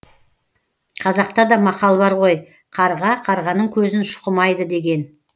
қазақта да мақал бар ғой қарға қарғаның көзін шұқымайды деген